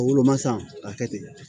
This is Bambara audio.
O woloma san ka kɛ ten